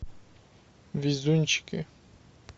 везунчики